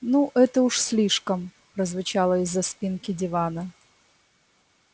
ну это уж слишком прозвучало из-за спинки дивана